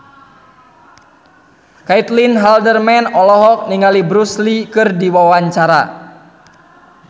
Caitlin Halderman olohok ningali Bruce Lee keur diwawancara